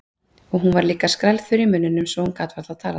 Hún var líka skrælþurr í munninum svo hún gat varla talað.